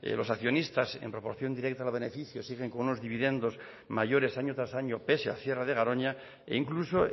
los accionistas en proporción directa en los beneficios siguen con unos dividendos mayores año tras año pese al cierre de garoña e incluso